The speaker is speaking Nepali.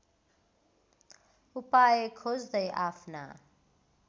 उपाय खोज्दै आफ्ना